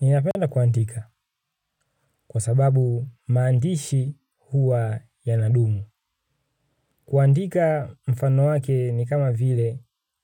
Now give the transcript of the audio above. Ninapenda kuandika kwa sababu maandishi huwa yanadumu. Kuandika mfano wake ni kama vile